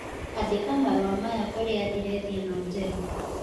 andĩka marũa maya kũrĩ andirethi ĩno njerũ